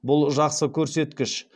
бұл жақсы көрсеткіш